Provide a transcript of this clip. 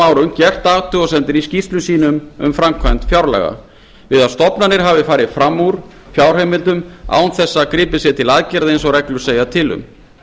árum gert athugasemdir í skýrslum sínum um framkvæmd fjárlaga við að stofnanir hafi farið fram úr fjárheimildum án þess að gripið sé til aðgerða eins og reglur segja til um